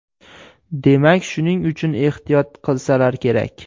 Demak, shuning uchun ehtiyot qilsalar kerak!